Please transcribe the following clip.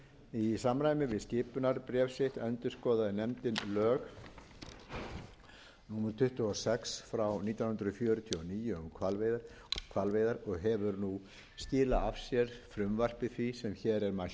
í samræmi við skipunarbréf sitt endurskoðaði nefndin lög númer tuttugu og sex nítján hundruð fjörutíu og níu um hvalveiðar og hefur nú skilað af sér frumvarpi því sem hér er mælt fyrir